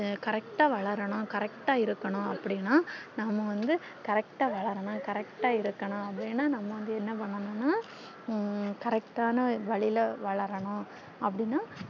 correct வளரனும் correct இருக்கணும் அப்டின்னா நம்ம வந்து correct வளரனும் correct இருக்கணும் அப்டின்னா நம்ம வந்து என்ன பன்னனுன்னா ஹம் correct ன்னா வழில வளரனும் அப்டின்னா